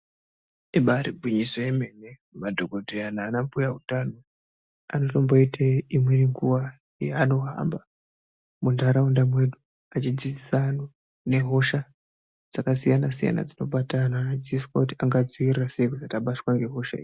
Ibari gwinyiso yemene, madhokodheya nana mbuya utano anotomboite imweni nguwa yanohamba muntaraunda mwedu achidzidzisa antu nehosha dzakasiyana-siyana dzinobata ana achidzidziswa kuti angadzivirira sei kuti asabatwa ngehosha idzi.